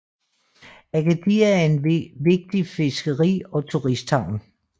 Agadir er en vigtig fiskeri og turisthavn